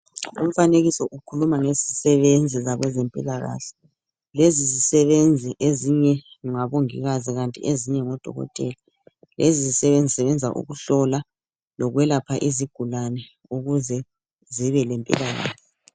Umfanekiso ukhuluma ngezisebenzi zabezempilakahle lezi zisebenzi ezinye ngomongikazi kanti ezinye ngo dokotela lezi zisebenzi zisebenza ukuhlola lokulapha izigulane ukuze zibe lempilakahle.